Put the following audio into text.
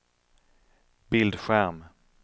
bildskärm